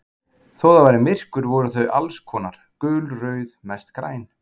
Þó það væri myrkur voru þau alls konar, gul, rauð, mest græn.